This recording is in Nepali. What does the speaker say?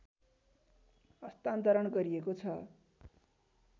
हस्तान्तरण गरिएको छ